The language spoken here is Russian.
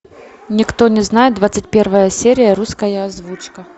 никто не знает двадцать первая серия русская озвучка